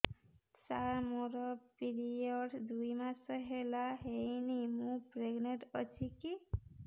ସାର ମୋର ପିରୀଅଡ଼ସ ଦୁଇ ମାସ ହେଲା ହେଇନି ମୁ ପ୍ରେଗନାଂଟ ଅଛି କି